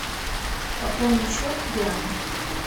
пополни счет диане